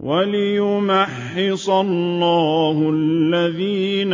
وَلِيُمَحِّصَ اللَّهُ الَّذِينَ